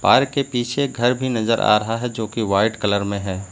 अर के पीछे घर भी नजर आ रहा है जो की वाइट कलर में है।